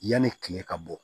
Yanni kile ka bɔ